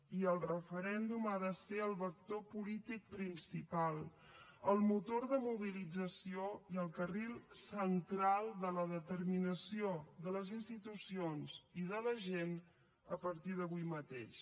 i el referèndum ha de ser el vector polític principal el motor de mobilització i el carril central de la determinació de les institucions i de la gent a partir d’avui mateix